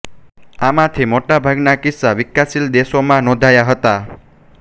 આમાંથી મોટા ભાગના કિસ્સા વિકાસશીલ દેશોમાં નોંધાયા હતા